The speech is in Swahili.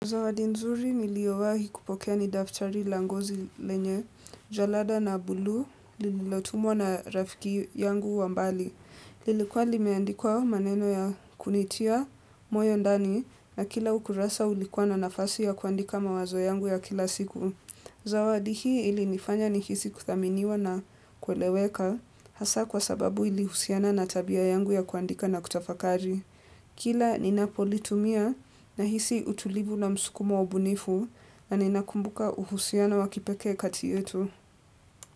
Zawadi nzuri niliyowahi kupokea ni daftari la ngozi lenye, jalada na bulu, lililotumwa na rafiki yangu wa mbali. Lilikuwa limeandikwa maneno ya kunitia, moyo ndani, na kila ukurasa ulikuwa na nafasi ya kuandika mawazo yangu ya kila siku. Zawadi hii ilinifanya nihisi kuthaminiwa na kweleweka, hasa kwa sababu ilihusiana na tabia yangu ya kuandika na kutafakari. Kila ninapolitumia nahisi utulivu na msukumo wa ubunifu na ninakumbuka uhusiano wa kipekee kati yetu.